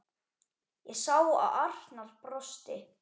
Ég sá að Arnar brosti.